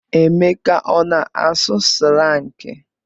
Emeka ọ na-asụ slangị?